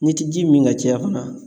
N'i ti ji min ka caya fana